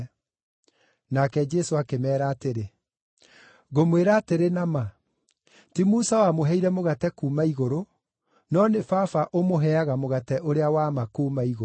Nake Jesũ akĩmeera atĩrĩ, “Ngũmwĩra atĩrĩ na ma, ti Musa wamũheire mũgate kuuma igũrũ, no nĩ Baba ũmũheaga mũgate ũrĩa wa ma kuuma igũrũ.